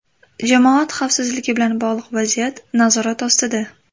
Jamoat xavfsizligi bilan bog‘liq vaziyat nazorat ostida.